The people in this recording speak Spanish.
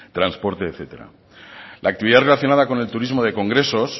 transportes etcétera la actividad relacionada con el turismo de congresos